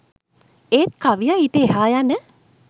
ඒත් කවියා ඊට එහා යන